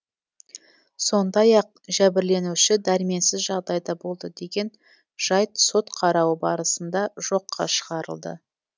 сондай ақ жәбірленуші дәрменсіз жағдайда болды деген жайт сот қарауы барысында жоққа шығарылды